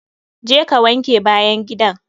Je ka wanke bayan gidan!